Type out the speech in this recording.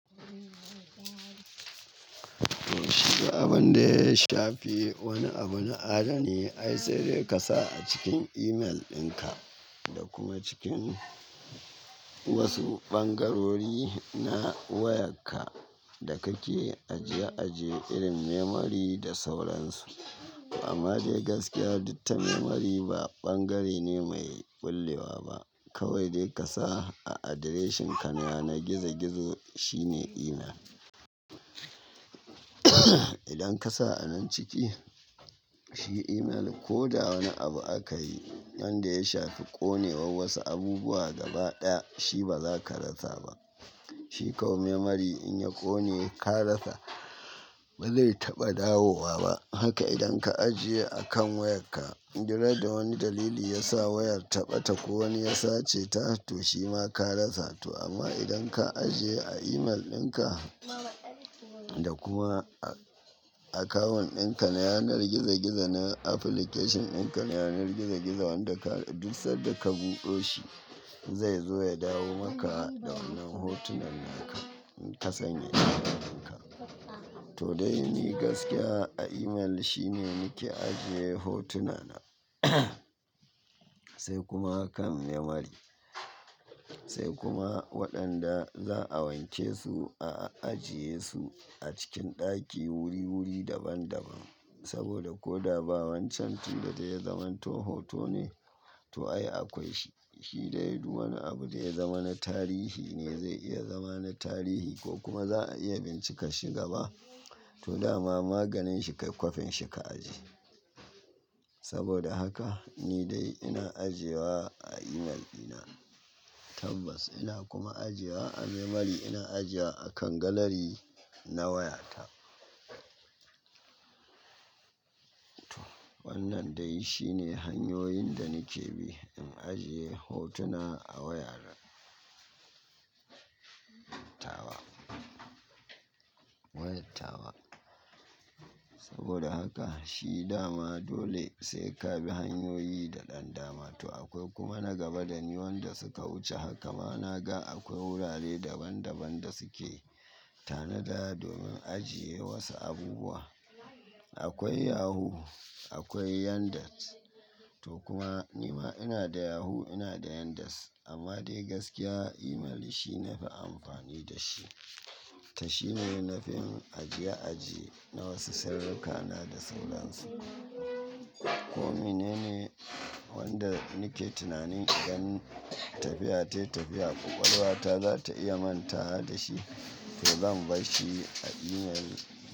Shiga abin da ya shafi wani abuna adani, ai sai dai ka sa a cikin email ɗinka da kuma cikin wasu bangarori na wayarka da kake ajiye-ajiye irin memory da sauransu. Amma dai gaskiya, duk ta memory ba bangare ne mai bullewa ba. Kawai dai ka sa a adireshinka na yanar gizo-gizo shine email. Idan ka sa a nan ciki, shi email ko da wani abu aka yi, wanda ya shafi ƙone war wasu abubuwa gaba ɗaya, shi ba za ka rasa ba. Shi kawai memory in ya ƙone, ka rasa, bai zai taɓa dawowa ba. Haka idan ka ajiye a kan wayarka, dukran da wani dalili ya sa wayar ta ɓata ko wani ya sace ta, to shi ma ka rasa to amma idan ka ajiye a email ɗinka da kuma a akawun ɗinka na yanar gizo-gizo na application ɗinka na yanar gizo-gizo wanda ka, duk sanda ka buɗo shi, zai zo ya dawo maka da wannan hotunan naka in ka sanya su a cikin ka. To dai ni gaskiya a email shine nake ajiye hotuna na, sai kuma kan memory, sai kuma waɗanda za a wanke su a ajiye su a cikin ɗaki wuri-wuri daban-daban. Saboda ko da ba wancan tun da dai yazaman to hoto ne, to ai akwai shi, shi dai duk wani abu da ya zama na tarihi ne zai iya zama na tarihi ko kuma za a iya bincikar shi gaba. To dama maganin shi kai kwafin shi ka ajiye. Saboda haka ni dai ina ajiye wa a email ɗina tabbas ina kuma ajiye wa a memory ina ajiye a kan galari na wayata. Wannan dai shine hanyoyin da nake bi in ajiye hotuna a wayana. Tawa. Wayar tawa. Saboda haka shi dama dole sai ka bi hanyoyi daɗan dama. To akwai kuma nagaba da ni waɗanda suka wuce haka ma na ga akwai wurare daban-daban da suke tanada domin ajiye wasu abubuwa. Akwai Yahoo, akwai Yandex. To kuma ni ma ina da Yahoo ina da Yandex. Amma dai gaskiya email shi nafi amfani da shi. Ta shi ne nafi ajiye-ajiye na wasu sirrikana da sauransu. Ko mene ne wanda nake tunanin idan tafiya ta yi tafiya ƙwaƙwalwata za ta iya manta wa da shi, to zan bashi a email.